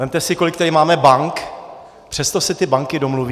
Vezměte si, kolik tady máme bank, přesto se ty banky domluví.